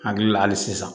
Hakili la hali sisan